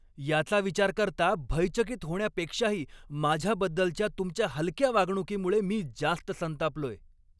याचा विचार करता, भयचकित होण्यापेक्षाही माझ्याबद्दलच्या तुमच्या हलक्या वागणुकीमुळे मी जास्त संतापलोय.